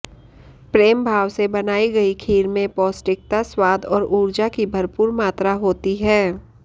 प्रेमभाव से बनाई गई खीर में पौष्टकिता स्वाद और उर्जा की भरपूर मात्रा होती है